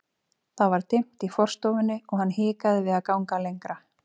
Það var dimmt í forstofunni og hann hikaði við að ganga lengra.